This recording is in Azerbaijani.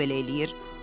Hamı belə eləyir.